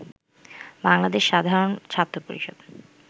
বাংলাদেশ সাধারণ ছাত্র পরিষদ